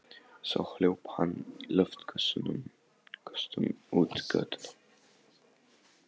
Svo hljóp hann í loftköstum út götuna.